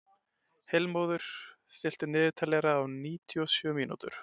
Heilmóður, stilltu niðurteljara á níutíu og sjö mínútur.